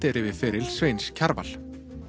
er yfir feril Sveins Kjarvals